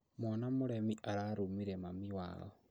Mwana mũremi ararumire mami wao